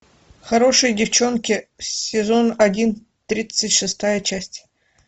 хорошие девчонки сезон один тридцать шестая часть